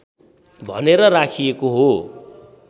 भनेर राखिएको हो